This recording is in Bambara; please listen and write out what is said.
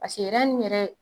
Paseke nin yɛrɛ